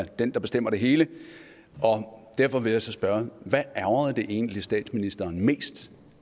den der bestemmer det hele og derfor vil jeg så spørge hvad ærgrede det egentlig statsministeren mest